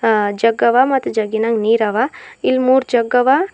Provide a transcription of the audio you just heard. ಆ ಜಗ್ಗವ ಮತ್ ಜಗ್ಗಿನಾಗ ನೀರವ ಇಲ್ಮೂರ್ ಜಗ್ಗವ.